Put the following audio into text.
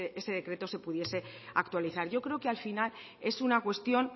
ese decreto se pudiese actualizar yo creo que al final es una cuestión